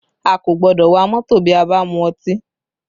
A kò gbọ́dọ̀ wa mọ́tò bí a bá mu ọtí